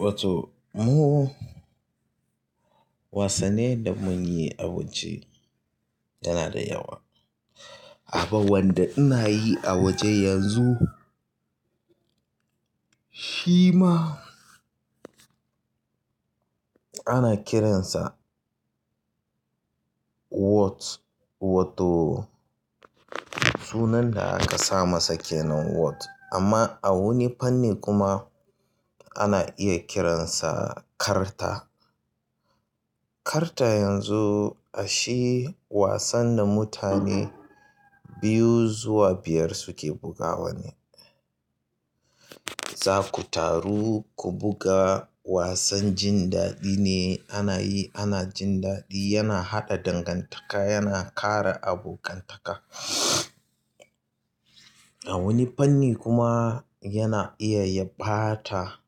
Wato mu wasannin da mun yi a waje yana da yawa. Abaw wanda ina yi a waje yanzu shi ma ana kiransa "what" wato sunan da aka sa masa kenan "what" amma a wani fanni kuma ana iya kiransa karta. Karta yanzu ashe wasan da mutane biyu zuwa biyar suke bugawa ne. Za ku taru ku buga wasan jin daɗi ne ana yi, ana jin daɗi, yana haɗa dangantaka, yana ƙara abokantaka. A wani fanni kuma yana iya ya ɓata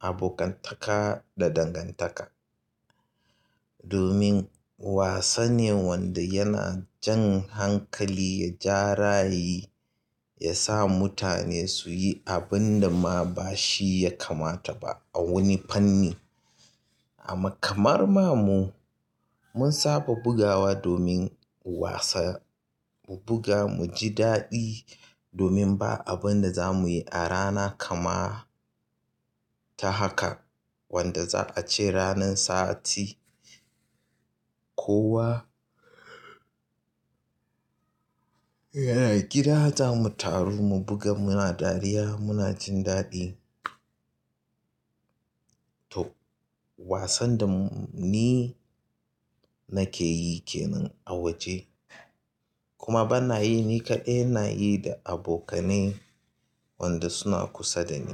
abokantaka da dangantaka. Domin wasane wanda yana jan hankali, ya jara yi, ya sa mutane su yi abunda ma ba shi ya kamata ba a wani fanni. Amma kamar ma mu mun saba bugawa domin wasa mu buga, mu ji daɗi domin ba abun da za mu yi a rana kama ta haka wanda za a ce ranan sati. Kowa yana gida za mu taru mu buga muna dariya muna jin daɗi. To wasan da ni nake yi kenan a waje kuma bana yi ni kaɗai, ina yi da abokane wanda suna kusa da ni.